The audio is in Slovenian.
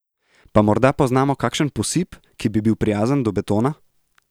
Pa morda poznamo kakšen posip, ki bi bil prijazen do betona?